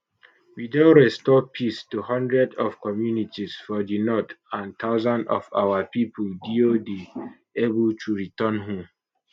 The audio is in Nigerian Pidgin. we don restore peace to hundreds of communities for di north and thousands of our pipo deo dey able to return home